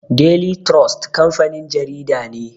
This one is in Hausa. Daily trust kamfanin jarida ne.